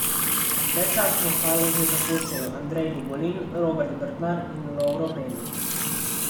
Predčasno Haloze zapuščajo Andrej Dugolin, Robert Brdar in Lovro Benič.